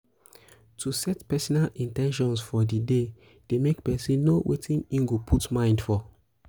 um to set personal in ten tions for di um day de make persin know um wetin im go put mind for